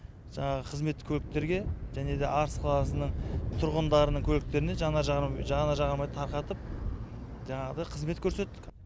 жаңағы қызметтік көліктерге және де арыс қаласының тұрғындарының көліктеріне жанар жағармай тарқатып жаңағыдай қызмет көрсеттік